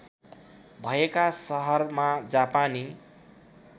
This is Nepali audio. भएका सहरमा जापानी